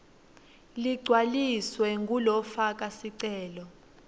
ligcwaliswe ngulofaka sicelo